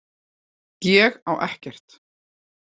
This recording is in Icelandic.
Ég á ekkert.